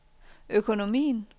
økonomien